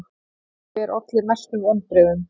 Hver olli mestum vonbrigðum?